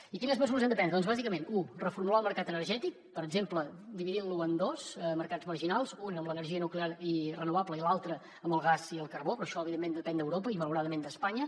i quines mesures hem de prendre doncs bàsicament u reformular el mercat energètic per exemple dividint lo en dos mercats marginals un amb l’energia nuclear i renovable i l’altre amb el gas i el carbó però això evidentment depèn d’europa i malauradament d’espanya